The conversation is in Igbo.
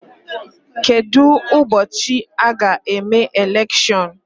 Kedụ ụbọchị a ga-eme elekshion?